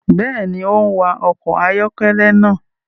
Béèni, o n wa ọkọ ayọkẹlẹ náà